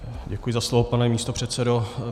Děkuji za slovo, pane místopředsedo.